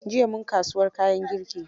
Jiya mun kasuwar kayan girki.